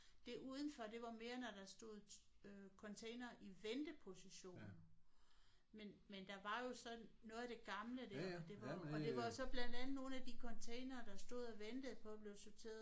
Det udenfor det var mere når der stod øh containere i venteposition men men der var jo så noget af det gamle der og det var jo og det var så blandt andet nogle af de containere der stod og ventede på at blive sorteret